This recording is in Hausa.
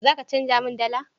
Za ka canja min dala?